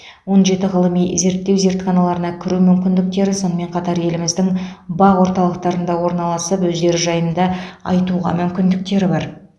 он жеті ғылыми зерттеу зертханаларына кіру мүмкіндіктері сонымен қатар еліміздің бақ орталықтарында орналасып өздері жайында айтуға мүмкіндіктері бар